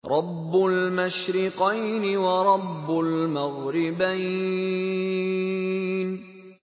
رَبُّ الْمَشْرِقَيْنِ وَرَبُّ الْمَغْرِبَيْنِ